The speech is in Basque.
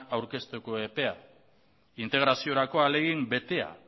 aurkezteko epea integraziorako ahalegin betea